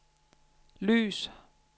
lys